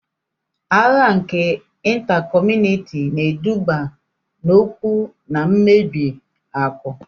Agha nke Ịnta kọmunịti na-eduba n'ọnwụ na mmebi akụ